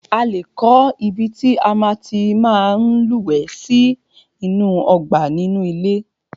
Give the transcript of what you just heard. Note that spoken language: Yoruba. A lé kọ́ ibi tí a tí máa ń lúwẹ̀ẹ́ sí inú ọgbà inú ilé.